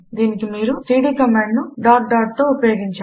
దీనికి మీరు సీడీ కమాండును డాట్ dotతో ఉపయోగించాలి